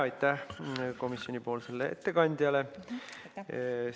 Aitäh komisjoni ettekandjale!